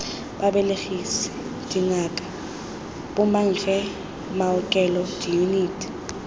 babelegisi dingaka bomankge maokelo diyuniti